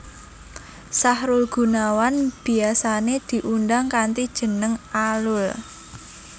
Sahrul Gunawan biyasané diundang kanthi jeneng Alul